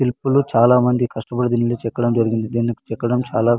శిల్పులు చాలా మంది కష్టపడి దిన్ని చెక్కడం జరిగింది దిన్ని చెక్కడం చాలా --